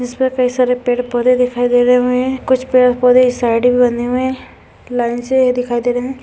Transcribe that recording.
इसमें कई सारे पेड़ पौधे दिखाई दे रहे हमें कुछ पेड़ पौधे इस साइड बने हुए है लाइन से ये दिखाई दे रहे है।